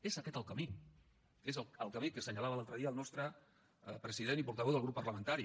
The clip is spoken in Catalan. és aquest el camí és el camí que assenyalava l’altre dia el nostre president i portaveu del grup parlamentari